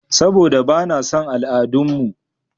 Saɓoda ba na son al'adun mu.